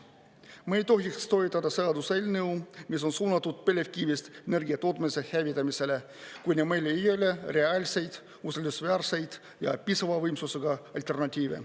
Me ei tohiks toetada seaduseelnõu, mis on suunatud põlevkivist energia tootmise hävitamisele, kuni meil ei ole reaalseid usaldusväärseid ja piisava võimsusega alternatiive.